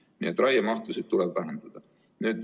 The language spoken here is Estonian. Nii et raiemahtusid tuleb vähendada.